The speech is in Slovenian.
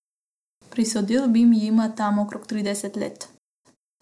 Prisodil bi jima tam okrog trideset let.